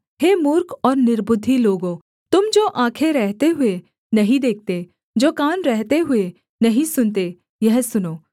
हे मूर्ख और निर्बुद्धि लोगों तुम जो आँखें रहते हुए नहीं देखते जो कान रहते हुए नहीं सुनते यह सुनो